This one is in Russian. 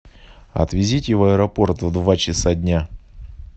отвезите в аэропорт в два часа дня